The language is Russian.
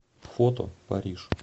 фото париж